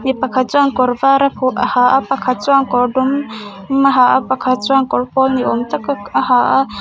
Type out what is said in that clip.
mi pakhat chuan kawr var a ha a pakhat chuan kawr dum a ha a pakhat chuan kawr pawl ni awm tak a ha a.